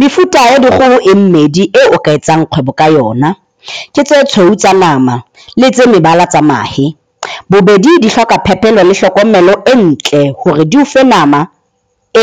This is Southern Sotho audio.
Mefuta ya dikgoho e mmedi eo o ka etsang kgwebo ka yona, ke tse tshweu tsa nama le tse mebala tsa mahe. Bobedi di hloka phepelo le hlokomelo e ntle hore di ofe nama